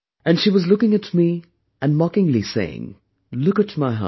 And she was looking at me and mockingly, saying, "Look at my house